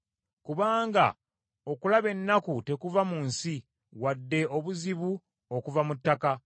Kubanga okulaba ennaku tekuva mu nsi, wadde obuzibu okuva mu ttaka,